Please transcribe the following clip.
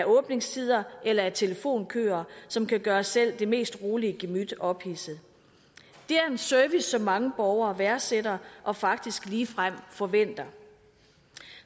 åbningstider eller telefonkøer som kan gøre selv det mest rolige gemyt ophidset det er en service som mange borgere værdsætter og faktisk ligefrem forventer